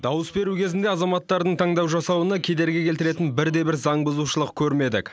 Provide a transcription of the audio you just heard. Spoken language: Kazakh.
дауыс беру кезінде азаматтардың таңдау жасауына кедергі келтіретін бірде бір заңбұзушылық көрмедік